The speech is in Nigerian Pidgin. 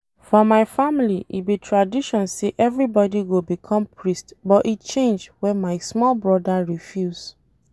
For my family e be tradition say every boy go become priest but e change wen my small broda refuse